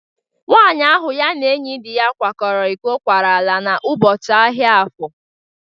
Nwaanyị ahụ ya na enyi dị ya kwara iko kwara ala n'ụbọchị ahịa afọ.